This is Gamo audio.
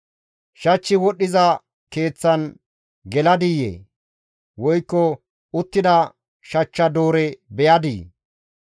Shachchi wodhdhiza keeththan geladiyee? Woykko uttida shachcha doore beyadii?